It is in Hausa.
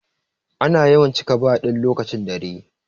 Ana yawan cika bar din lokacin dare.